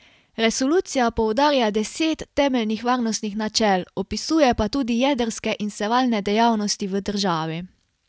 Resolucija poudarja deset temeljnih varnostnih načel, opisuje pa tudi jedrske in sevalne dejavnosti v državi.